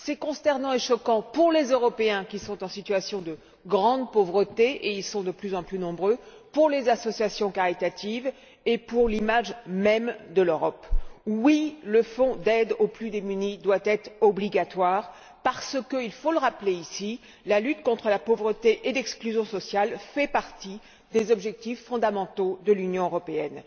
C'est consternant et choquant pour les Européens qui sont en situation de grande pauvreté et ils sont de plus en plus nombreux pour les associations caritatives et pour l'image même de l'Europe. Oui, le Fonds d'aide aux plus démunis doit être obligatoire parce que, rappelons le, la lutte contre la pauvreté et l'exclusion sociale fait partie des objectifs fondamentaux de l'Union européenne.